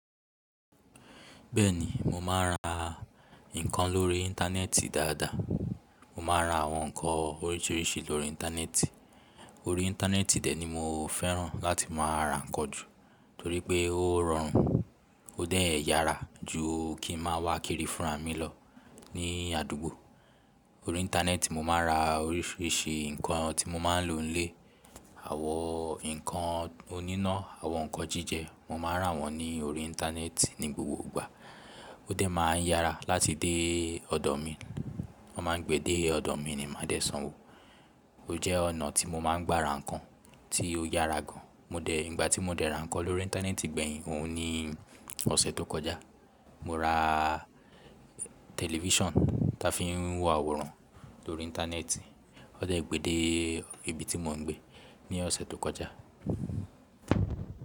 Bẹ́ẹ̀ni, mo máa ń ra nǹkan lórí íńtánẹ́ẹ̀tì dáadáa. Mo máa ń ra àwọn nǹkan oríṣiríṣi lórí íńtánẹ́ẹ̀tì. Orí íńtánẹ́ẹ̀tì tẹ̀ ni mo fẹ́ràn láti máa ra nǹkan jù, torí pé ó rọrùn, ó dẹ́ẹ̀ yara ju kí n máa wá kiri fún ra mí lọ ní àdúgbò. Orí íńtánẹ́ẹ̀tì mo máa ń ra oríṣiríṣi nǹkan tí mo máa ń lò nílé. Àwọn nǹkan oníná, àwọn nǹkan jíjẹ, mo máa rà wọ́n ní orí íńtánẹ́ẹ̀tì ní gbogbo ìgbà. Ó dẹ́ máa ń yara láti dé ọ̀dọ̀ mi. Wọ́n máa ń gbé dé ọ̀dọ̀ mi ni màá dẹ sanwó. Ó jẹ́ ọ̀nà tí mo máa ń gbára nǹkan tí ó yara gan. Mo dẹ̀, ìgbà tí mo dẹ̀ ra nǹkan lórí íńtánẹ́ẹ̀tì gbẹ̀yìn, òun ní ọ̀sẹ̀ tó kọjá. Mo ra tẹlifọ́ṣọ̀n tí a fi ń wo àwòrán lórí íńtánẹ́ẹ̀tì. Ọ̀ dẹ̀ gbé dé ibi tí mò ń gbé ní ọ̀sẹ̀ tó kọjá.